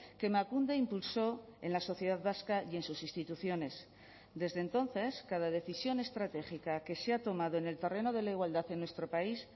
que emakunde impulso en la sociedad vasca y en sus instituciones desde entonces cada decisión estratégica que se ha tomado en el terreno de la igualdad en nuestro país